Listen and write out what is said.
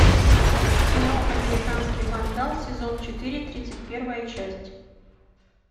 кино американский вандал сезон четыре тридцать первая часть